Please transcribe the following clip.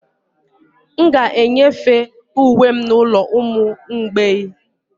M ga-enyefe uwe m n'ụlọ ụmụ mgbei